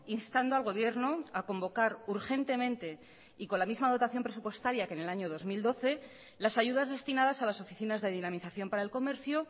instando al gobierno a convocar urgentemente y con la misma dotación presupuestaria que en el año dos mil doce las ayudas destinadas a las oficinas de dinamización para el comercio